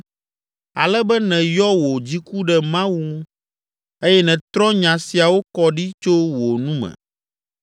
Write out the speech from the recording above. ale be nènyɔ wò dziku ɖe Mawu ŋu eye nètrɔ nya siawo kɔ ɖi tso wò nu me?